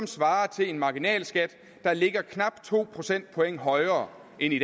svarer til en marginalskat der ligger knap to procentpoint højere end i